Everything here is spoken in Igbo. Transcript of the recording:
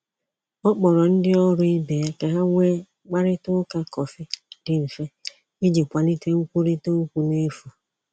Ọ kpọrọ ndị ọrụ ibe ya ka ha nwee mkparịta ụka kọfị dị mfe iji kwalite nkwurịta okwu n’efu.